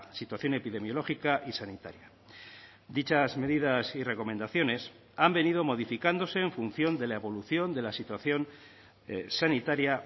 situación epidemiológica y sanitaria dichas medidas y recomendaciones han venido modificándose en función de la evolución de la situación sanitaria